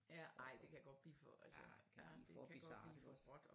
Ja ej det kan godt blive for altså for råt